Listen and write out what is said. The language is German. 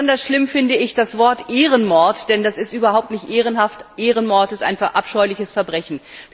Besonders schlimm finde ich das Wort Ehrenmord, denn das ist überhaupt nicht ehrenhaft. Ehrenmord ist ein abscheuliches Verbrechen!